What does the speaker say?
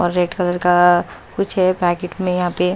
और red colour का कुछ है पैकेट में यहाँ पे--